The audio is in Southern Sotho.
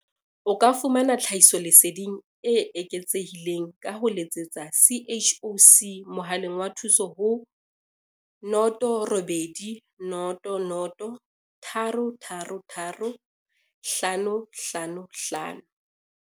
O ka fumana tlhahiso leseding e eketsehileng ka ho letsetsa CHOC mohaleng wa thuso ho 0800 333 555.